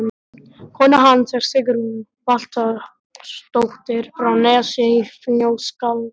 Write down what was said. Kona hans er Sigrún Valtýsdóttir frá Nesi í Fnjóskadal.